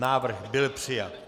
Návrh byl přijat.